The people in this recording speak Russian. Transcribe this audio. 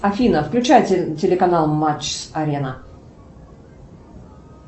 афина включай телеканал матч арена